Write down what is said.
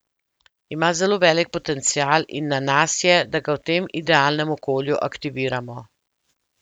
Ima zelo velik potencial in na nas je, da ga v tem idealnem okolju aktiviramo.